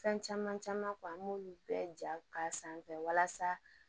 Fɛn caman caman fɔ an b'olu bɛɛ ja k'a sanfɛ walasa